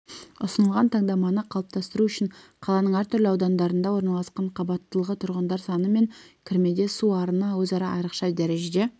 ұсынылған таңдаманы қалыптастыру үшін қаланың әртүрлі аудандарында орналасқан қабаттылығы тұрғындар саны мен кірмеде су арыны өзара айрықша дәрежеде